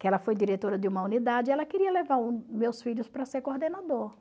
que ela foi diretora de uma unidade, e ela queria levar o meus filhos para ser coordenador.